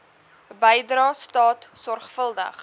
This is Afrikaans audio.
bydrae staat sorgvuldig